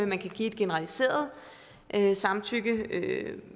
man kan give et generaliseret samtykke